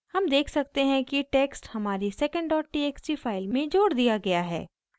हम देख सकते हैं कि टेक्स्ट हमारी secondtxt फाइल में जोड़ दिया गया है